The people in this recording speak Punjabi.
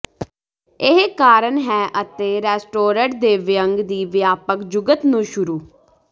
ਇਹ ਕਾਰਨ ਹੈ ਅਤੇ ਰੈਸਟੋਰਟ ਦੇ ਵਿਅੰਗ ਦੀ ਵਿਆਪਕ ਜੁਗਤ ਨੂੰ ਸ਼ੁਰੂ